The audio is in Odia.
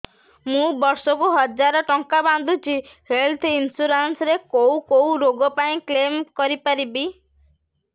ମୁଁ ବର୍ଷ କୁ ହଜାର ଟଙ୍କା ବାନ୍ଧୁଛି ହେଲ୍ଥ ଇନ୍ସୁରାନ୍ସ ରେ କୋଉ କୋଉ ରୋଗ ପାଇଁ କ୍ଳେମ କରିପାରିବି